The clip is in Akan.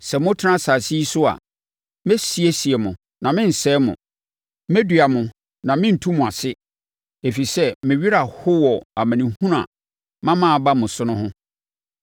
‘Sɛ motena asase yi so a, mɛsiesie mo na merensɛe mo, mɛdua mo na merentu mo ase, ɛfiri sɛ me werɛ aho wɔ amanehunu a mama aba mo so no ho.